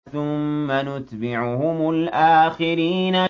ثُمَّ نُتْبِعُهُمُ الْآخِرِينَ